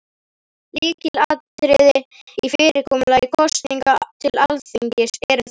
Lykilatriðin í fyrirkomulagi kosninga til Alþingis eru þessi: